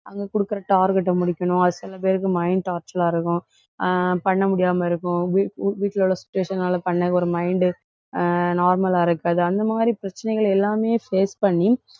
அங்க கொடுக்கிற target அ முடிக்கணும். அது சில பேருக்கு mind torture ஆ இருக்கும். ஆஹ் பண்ண முடியாம இருக்கும். வீட்~ வீட்ல உள்ள situation னால பண்ண ஒரு mind அஹ் normal ஆ இருக்காது. அந்த மாதிரி பிரச்சனைகள் எல்லாமே face பண்ணி,